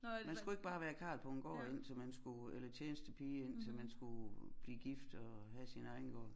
Man skulle ikke bare være karl på en gård indtil man skulle eller tjenestepige indtil man skulle blive gift og have sin egen gård